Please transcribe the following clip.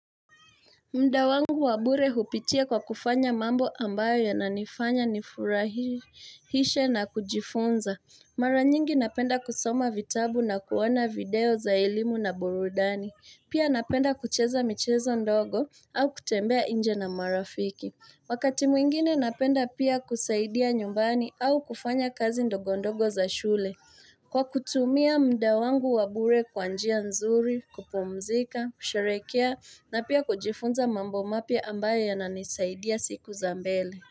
Mda wangu wa bure hupitia kwa kufanya mambo ambayo yananifanya nifurahishe na kujifunza. Mara nyingi napenda kusoma vitabu na kuona video za elimu na burudani. Pia napenda kucheza michezo ndogo au kutembea nje na marafiki. Wakati mwingine napenda pia kusaidia nyumbani au kufanya kazi ndogo ndogo za shule. Kwa kutumia mda wangu wa bure kwa njia nzuri, kupumzika, kusherekea, na pia kujifunza mambo mapya ambayo yananisaidia siku za mbele.